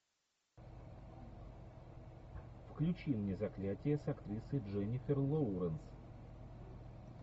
включи мне заклятие с актрисой дженифер лоуренс